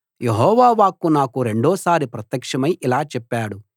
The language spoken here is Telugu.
యెహోవా వాక్కు నాకు రెండోసారి ప్రత్యక్షమై ఇలా చెప్పాడు